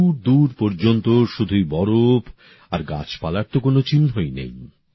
দূর দূর পর্যন্ত শুধুই বরফ আর গাছপালার তো কোনো চিহ্নই নেই